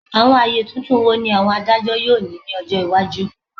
Awọn aye tuntun wo ni awọn adajọ yoo ni ni ọjọ iwaju?